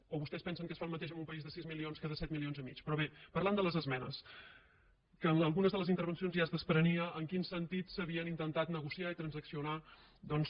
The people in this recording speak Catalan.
o vostès pensen que es fa el mateix en un país de sis milions que de set milions i mig però bé parlant de les esmenes que en algunes de les intervencions ja es desprenia en quin sentit s’havien intentat negociar i transaccionar doncs